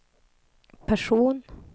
person